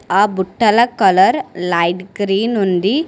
ఆ బుట్టల colour light green ఉంది.